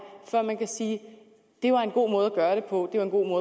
for at man kan sige at det var en god måde gøre det på det var en god